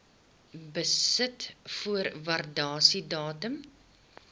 besit voor waardasiedatum